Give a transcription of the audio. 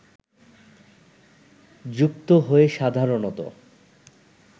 যুক্ত হয়ে সাধারণত